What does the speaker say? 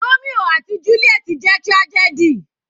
Romio àti juliet jẹ́ tragedy.